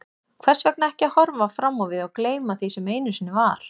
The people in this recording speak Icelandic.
Hvers vegna ekki að horfa fram á við og gleyma því sem einu sinni var?